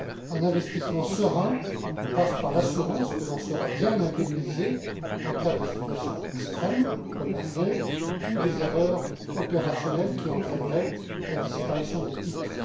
Un investissement serein passe par l'assurance que l'on sera bien indemnisé en cas de situation extrême, comme la fraude ou des erreurs opérationnelles qui entraîneraient la disparition des titres.